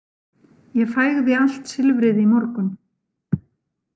Ég fægði allt silfrið í morgun.